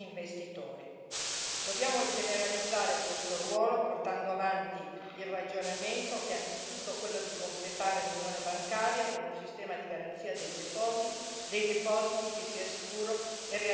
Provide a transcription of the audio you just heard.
Dobbiamo generalizzare questo ruolo, portando avanti il ragionamento che è anzitutto quello di completare l'Unione bancaria con un sistema di garanzia dei depositi che sia sicuro e realizzabile per tutti.